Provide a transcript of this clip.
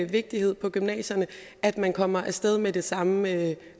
vigtighed på gymnasierne at man kommer af sted med det samme